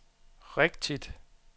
rigtigt